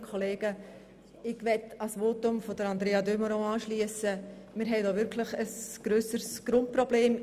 Wir haben hier wirklich ein grösseres Grundproblem.